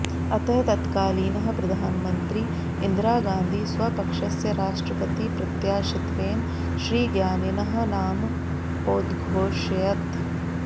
अतः तत्कालीनः प्रधामन्त्री इन्दिरा गान्धी स्वपक्षस्य राष्ट्रपतिप्रत्याशित्वेन श्रीज्ञानिनः नाम औद्घोषयत्